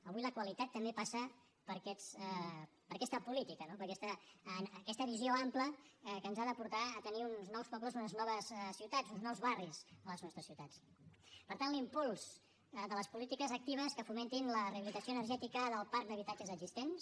avui la qualitat també passa per aquesta política no per aquesta visió ampla que ens ha de portar a tenir uns nous pobles unes noves ciutats uns nous barris a les nostres ciutats per tant l’impuls de les polítiques actives que fomentin la rehabilitació energètica del parc d’habitatges existents